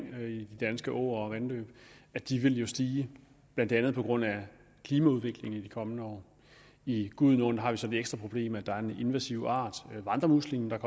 de danske åer og vandløb vil stige blandt andet på grund af klimaudviklingen i de kommende år i gudenåen har vi så det ekstra problem at der er kommet en invasiv art vandremuslingen